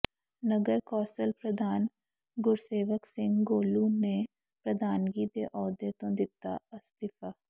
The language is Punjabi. ਨਗਰ ਕੌ ਾਸਲ ਪ੍ਰਧਾਨ ਗੁਰਸੇਵਕ ਸਿੰਘ ਗੋਲੂ ਨੇ ਪ੍ਰਧਾਨਗੀ ਦੇ ਅਹੁਦੇ ਤੋਂ ਦਿੱਤਾ ਅਸਤੀਫ਼ਾ